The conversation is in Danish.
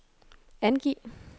angiv